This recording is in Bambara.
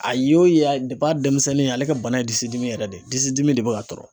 A ye o ye a a denmisɛnnin ale ka bana ye disidimi yɛrɛ de ye disidimi de bɛ k'a tɔɔrɔ.